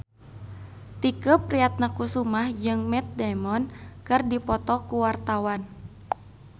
Tike Priatnakusuma jeung Matt Damon keur dipoto ku wartawan